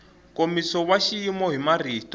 nkomiso wa xona hi marito